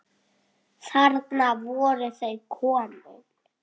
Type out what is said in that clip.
Þarna voru þau komin.